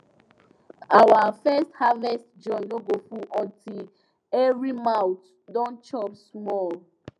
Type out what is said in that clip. our first harvest joy no go full until every mouth don chop small